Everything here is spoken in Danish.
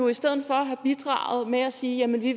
i stedet for have bidraget med at sige at vi